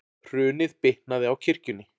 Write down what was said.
Hrunið bitnaði á kirkjunni